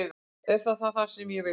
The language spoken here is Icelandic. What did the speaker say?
Er það það sem ég vil?